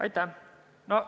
Aitäh!